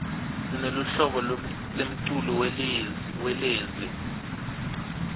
sineluhlobo lemculo welezi